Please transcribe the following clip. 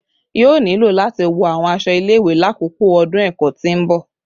Yoo nilo lati wọ awọn aṣọ ile-iwe lakoko ọdun ẹkọ ti n bọ